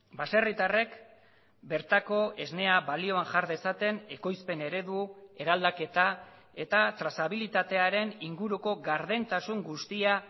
baserritarrek bertako esnea balioan jar dezaten ekoizpen eredu eraldaketa eta trazabilitatearen inguruko gardentasun guztia